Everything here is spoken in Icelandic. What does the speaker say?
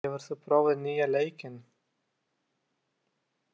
Þorkell, hefur þú prófað nýja leikinn?